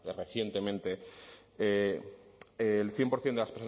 recientemente el cien por ciento de